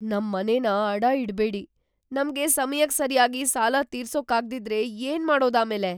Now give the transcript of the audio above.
ನಮ್ ಮನೆನ ಅಡ ಇಡ್ಬೇಡಿ. ನಮ್ಗೆ ಸಮಯಕ್ ಸರ್ಯಾಗಿ ಸಾಲ ತೀರ್ಸೋಕಾಗ್ದಿದ್ರೆ ಏನ್ಮಾಡೋದು ಆಮೇಲೆ?